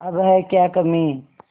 अब है क्या कमीं